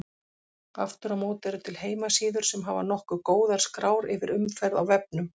Aftur á móti eru til heimasíður sem hafa nokkuð góðar skrár yfir umferð á vefnum.